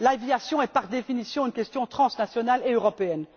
L'aviation est par définition une question transnationale et européenne.